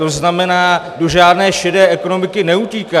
To znamená, do žádné šedé ekonomiky neutíká.